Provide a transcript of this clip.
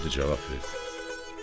Pirverdi cavab verdi: